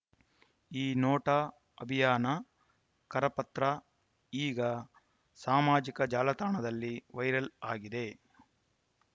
ಈ ನೋಟಾ ಅಭಿಯಾನ ಕರಪತ್ರ ಈಗ ಸಾಮಾಜಿಕ ಜಾಲತಾಣದಲ್ಲಿ ವೈರಲ್‌ ಆಗಿದೆ